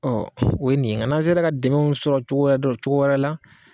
o ye nin ye nka n'an sera ka dɛmɛw sɔrɔ cogo dɔ cogo wɛrɛ la